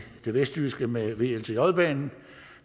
det vestjyske med vltj banen